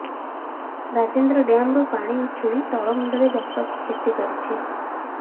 ରାଜେନ୍ଦ୍ର ଡ୍ୟାମରୁ ପାଣି ଉଛୁଳି ତଳମୁଣ୍ଡରେ ବ୍ୟାପକ କ୍ଷତି କରିଛି